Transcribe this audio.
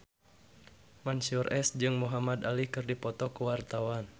Mansyur S jeung Muhamad Ali keur dipoto ku wartawan